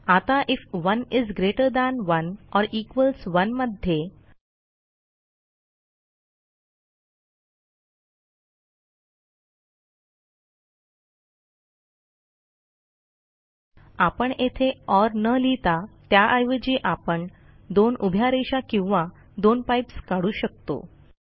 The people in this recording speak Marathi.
आता IF 1 is greater than 1 or equals 1 मध्ये आपण येथे ओर न लिहिता त्याऐवजी आपण दोन उभ्या रेषा किंवा दोन पाइप्स काढू शकतो